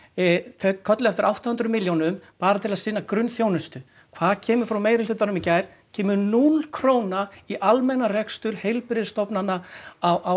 þau kölluðu eftir átta hundruð milljónum bara til að sinna grunnþjónustu hvað kemur frá meirihlutanum í gær kemur núll króna í almennan rekstur heilbrigðisstofnana á